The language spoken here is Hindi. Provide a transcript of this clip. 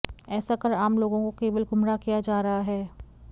ऐसा कर आम लोगों को केवल गुमराह किया जा रहा है